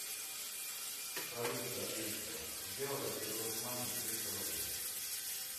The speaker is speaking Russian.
салют алиса сделай перевод маме триста рублей